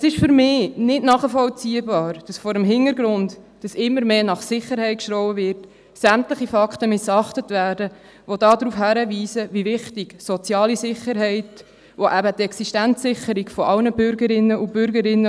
Es ist für mich nicht nachvollziehbar, dass vor dem Hintergrund, dass immer mehr nach Sicherheit geschrien wird, sämtliche Fakten missachtet und ignoriert werden, die darauf hinweisen, wie wichtig soziale Sicherheit ist, und dazu gehört eben auch die Existenzsicherung von allen Bürgerinnen und Bürger.